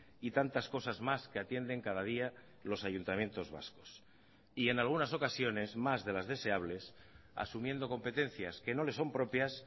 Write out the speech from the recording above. y tantas cosas más que atienden cada día los ayuntamientos vascos y en algunas ocasiones más de las deseables asumiendo competencias que no le son propias